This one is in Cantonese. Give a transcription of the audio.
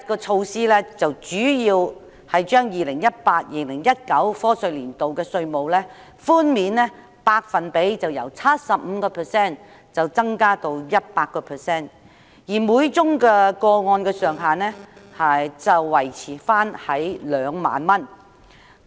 措施主要提出把 2018-2019 課稅年度的稅務寬免百分比由 75% 增加至 100%， 每宗個案的上限維持在2萬元。